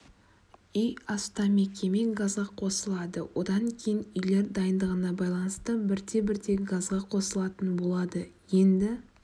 үй астам мекеме газға қосылады одан кейін үйлер дайындығына байланысты бірте-бірте газға қосылатын болады енді